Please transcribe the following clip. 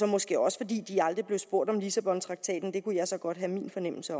måske også fordi de aldrig blev spurgt om lissabontraktaten det kunne jeg så godt have en fornemmelse